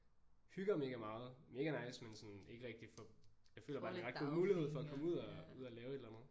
Hygger mega meget mega nice men sådan ikke rigtig får jeg føler bare det en ret god mulighed for at komme ud og ud og lave et eller andet